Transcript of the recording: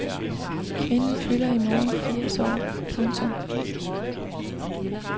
Kvinden fylder i morgen firs år. punktum